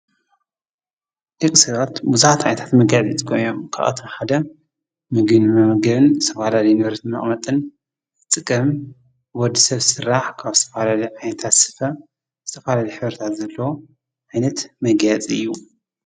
ደቂ ሰባት ብዙሓት ዓይነት መጋየፂ ይጥቀሙ እዮም። ካብአቶም ሓደ ምግቢ ንመመገቢን ዝተፈላለዩ ንብረት መቀመጥን ብ ወዲ ሰብ ዝስራሕ ካብ ዝተፈላለየ ዓይነታት ስፈ ዝተፈላለየ ዓይነት ሕብሪ ዘለዎ ዓይነት መጋየፂ እዩ።